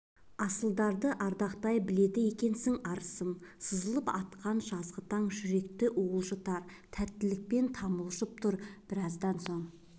асылыңды ардақтай біледі екенсің арысым сызылып атқан жазғы таң жүрек уылжытар тәттілікпен тамылжып тұр біраздан соң